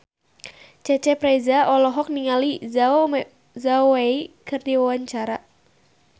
Cecep Reza olohok ningali Zhao Wei keur diwawancara